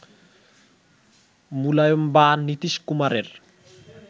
মুলায়ম বা নীতীশ কুমারের